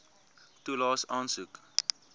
toelaes aansoek